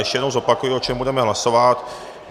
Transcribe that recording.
Ještě jednou zopakuji, o čem budeme hlasovat.